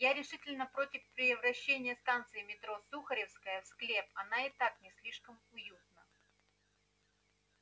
я решительно против превращения станции метро сухаревская в склеп она и так не слишком уютна